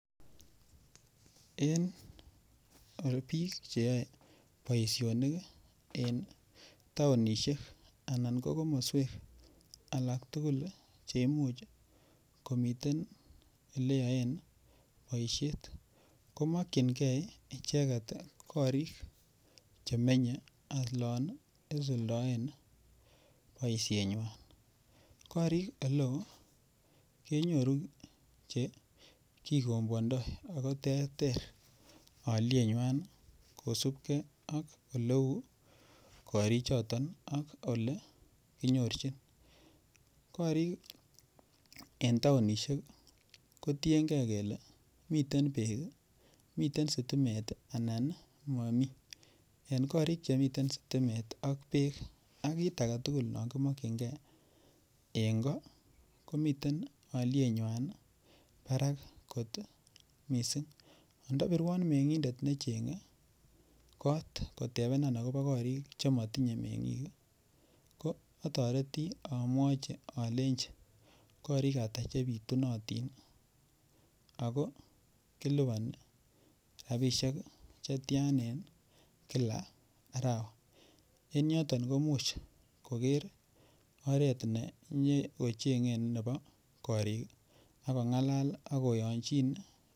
En biik cheyoei boishonik en taonishek anan ko komoswek alak tukul cheimuch komiten oleyoen boishet komokchingei icheget korik chemenyei olon isuldaen boishenywai korik ole oo kenyoru chekikombwondoi ako terter oliyenywai kosubkei ak ole uu korichoton ak ole kinyorchin korik en taonishek kotiengei kele miten beek miten sitimet anan momii en korik chemiten sitimet ak beek ak kit age tugul no kimokchingei eng' ko komiten oliyenywai barak kot mising' andapirwon meng'idet nechengei kot akobo korik chematinyei meng'ik ko atoreti amwochi alenjin korik ata chepitunotin ako kilipani robishek chetchan en kila arawa en yoton ko muuch koker oret ne nyekocheng'en nebo korik akong'alal akoyonjin